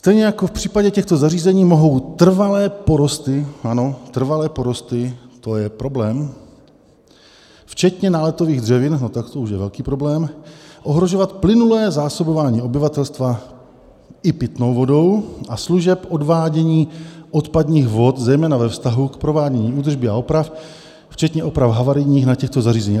"Stejně jako v případě těchto zařízení mohou trvalé porosty" - ano, trvalé porosty, to je problém - "včetně náletových dřevin" - no, tak to už je velký problém - "ohrožovat plynulé zásobování obyvatelstva i pitnou vodou a služeb odvádění odpadních vod zejména ve vztahu k provádění údržby a oprav, včetně oprav havarijních, na těchto zařízeních."